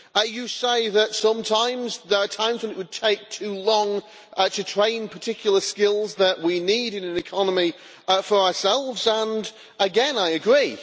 You say that sometimes there are times when it would take too long to train particular skills that we need in our economy for ourselves, and again, I agree.